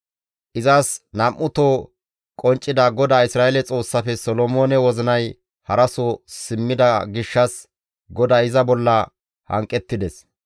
Izas nam7uto qonccida GODAA Isra7eele Xoossafe Solomoone wozinay haraso simmida gishshas GODAY iza bolla hanqettides.